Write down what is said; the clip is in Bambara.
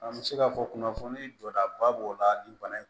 An bɛ se ka fɔ kunnafoni jɔdaba b'o la nin bana in